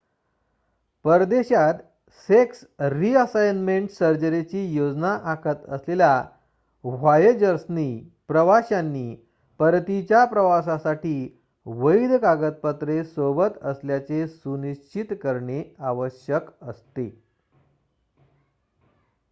परदेशात sex reassignment सर्जरीची योजना आखत असलेल्या व्हॉएजर्सनी प्रवाश्यांनी परतीच्या प्रवासासाठी वैध कागदपत्रे सोबत असल्याचे सुनिश्चित करणे आवश्यक असते